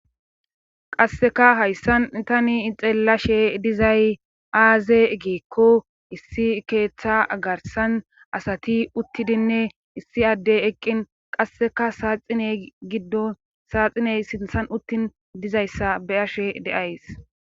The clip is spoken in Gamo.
qasseka hayssan tani ixeellashe dizay aaze geekko issi keeththa garsan asati uttidinne issi addey eqqin qasseka saaxiney giddo saaxiney sinthan uttin dizayssa be ashe deays